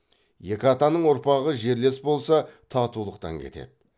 екі атаның ұрпағы жерлес болса татулықтан кетеді